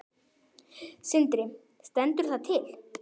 Sindri: Stendur það til?